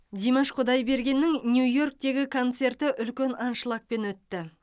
димаш құдайбергеннің нью йорктегі концерті үлкен аншлагпен өтті